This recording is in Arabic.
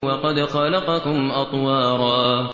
وَقَدْ خَلَقَكُمْ أَطْوَارًا